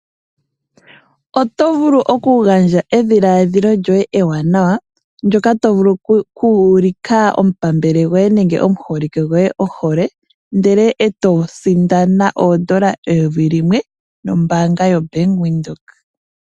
Oto vulu okugandja edhiladhilo lyoye ewanawa ndyoka to vulu okuulika omupambele goye nenge omuholike gwoye ohole ndele eto sindana oondola eyovi limwe nombanga yoBank Windhoek.